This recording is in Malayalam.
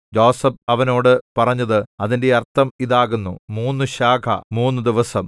യോസേഫ് അവനോട് പറഞ്ഞത് അതിന്റെ അർത്ഥം ഇതാകുന്നു മൂന്ന് ശാഖ മൂന്നുദിവസം